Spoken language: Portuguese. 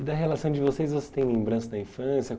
E da relação de vocês, você tem lembrança da infância?